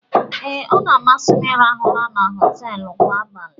Ee, ọ na-amasị m ịrahụ ụra na họteelụ kwa abalị